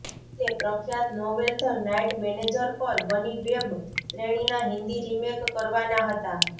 તે પ્રખ્યાત novel the night manager પર બની વેબ શ્રેણીના હિન્દી રિમેક કરવાના હતા